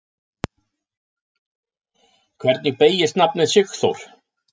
Hvernig beygist nafnið Sigþór?